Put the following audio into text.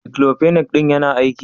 "Diclofenac " din yana aiki?